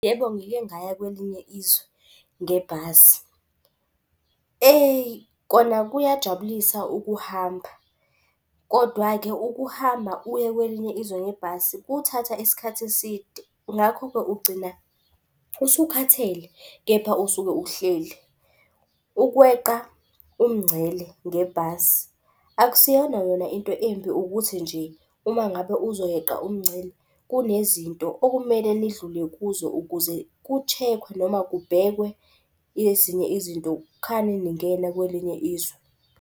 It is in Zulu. Yebo, ngike ngaya kwelinye izwe ngebhasi. Eyi, kona kuyajabulisa ukuhamba kodwa-ke ukuhamba uye kwelinye izwe ngebhasi kuthatha isikhathi eside. Ngakho-ke, ugcina usukhathele kepha usuke uhleli. Ukweqa umngcele ngebhasi akusiyona yona into embi, ukuthi nje uma ngabe uzoyeqa umngcele, kunezinto okumele nidlule kuzo ukuze ku-check-we noma kubhekwe ezinye izinto. Kukhane ningena kwelinye izwe.